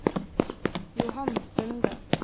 Johan Sunde